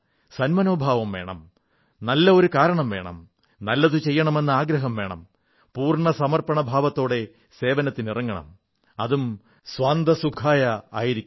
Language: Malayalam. സൻമനോഭാവം വേണം നല്ല ഒരു കാരണം വേണം നല്ലതു ചെയ്യണമെന്ന ആഗ്രഹം വേണം പൂർണ്ണ സമർപ്പണഭാവത്തോടെ സേവനത്തിനിറങ്ങണം അതും സ്വാന്തഃ സുഖായഃ ആയിരിക്കണം